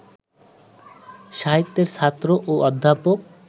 সাহিত্যের ছাত্র ও অধ্যাপক